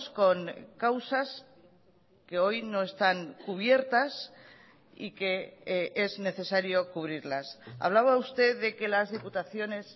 con causas que hoy no están cubiertas y que es necesario cubrirlas hablaba usted de que las diputaciones